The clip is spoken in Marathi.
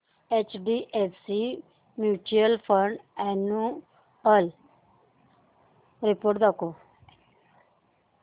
HDFC mutual fund annual report दाखव